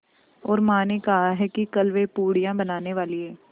और माँ ने कहा है कि कल वे पूड़ियाँ बनाने वाली हैं